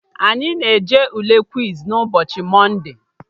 Anyị na-eje Ule kwiz n'ụbọchị mọnde